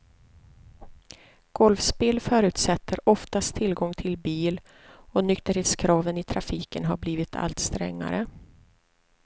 Golfspel förutsätter oftast tillgång till bil och nykterhetskraven i trafiken har blivit allt strängare.